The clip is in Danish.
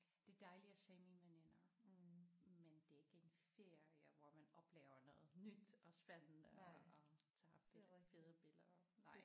Det er dejligt at se mine veninder men det er ikke en ferie hvor man oplever noget nyt og spændende og tager fede billeder nej